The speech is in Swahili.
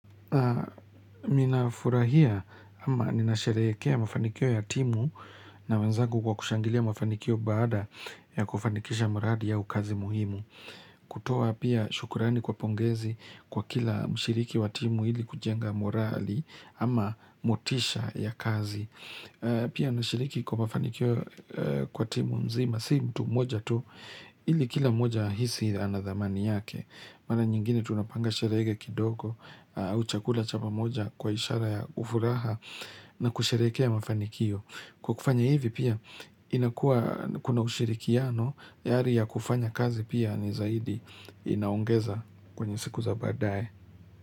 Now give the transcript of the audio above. Naam ninafurahia ama nina sherehekea mafanikio ya timu na wenzangu kwa kushangilia mafanikio baada ya kufanikisha mradi au kazi muhimu. Kutoa pia shukurani kwa pongezi kwa kila mshiriki wa timu ili kujenga morali ama motisha ya kazi. Pia nashiriki kwa mafanikio kwa timu mzima si mtu moja tu ili kila mmoja ahisi anadhamani yake. Mara nyingine tunapanga sherehe kidogo au chakula chapa moja kwa ishara ya furaha na kusherehekea mafanikio. Kwa kufanya hivi pia inakua kuna ushirikiano ya hali ya kufanya kazi pia ni zaidi inaongeza kwenye siku za bbadae.